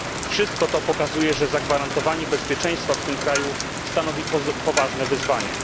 Wszystko to pokazuje, że zagwarantowanie bezpieczeństwa w tym kraju stanowi poważne wyzwanie.